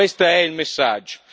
Questo è il messaggio.